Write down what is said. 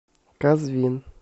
казвин